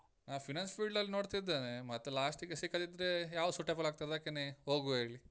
ನಾ finance field ಅಲ್ಲಿ ನೋಡ್ತಾ ಇದ್ದೇನೆ, ಮತ್ತೆ last ಗೆ ಸಿಕ್ಕದಿದ್ರೆ ಯಾವ್ದು suitable ಆಗ್ತದೆ ಅದಕ್ಕೇನೆ ಹೋಗುವ ಹೇಳಿ.